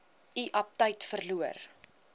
u aptyt verloor